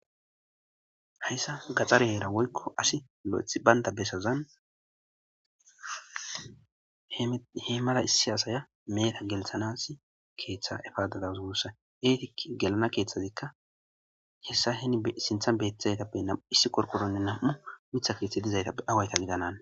hayssa gaxare heera woykko asi lo7ethi baynda besazan he mala issi aasaya meheta gelthanas keeththe efaada dawus guussa eetika gelana keeththazikka hessa heni sintha beettizaytappe nam7u issi qorqoronne nam7u mitha keeththe dizaytappe awayita gidanane